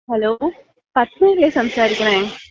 Hello. പദ്മയല്ലെ സംസാരിക്കണെ?